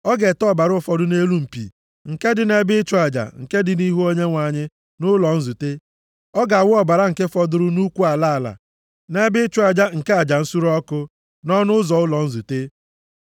Ọ ga-ete ọbara ụfọdụ nʼelu mpi nke dị nʼebe ịchụ aja nke dị nʼihu Onyenwe anyị, nʼụlọ nzute. Ọ ga-awụ ọbara nke fọdụrụ nʼụkwụ ala ala, nʼebe ịchụ aja nke aja nsure ọkụ, nʼọnụ ụzọ ụlọ nzute.